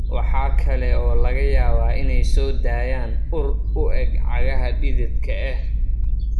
Waxa kale oo laga yaabaa inay soo daayaan ur u eg cagaha dhididka ah.